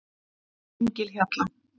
Engihjalla